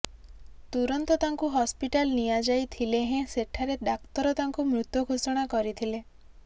ତୁରନ୍ତ ତାଙ୍କୁ ହସ୍ପିଟାଲ ନିଆଯାଇଥିଲେ ହେଁ ସେଠାରେ ଡାକ୍ତର ତାଙ୍କୁ ମୃତ ଘୋଷଣା କରିଥିଲେ